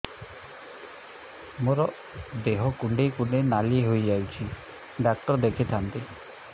ମୋର ଦେହ କୁଣ୍ଡେଇ କୁଣ୍ଡେଇ ନାଲି ହୋଇଯାଉଛି ଡକ୍ଟର ଦେଖାଇ ଥାଆନ୍ତି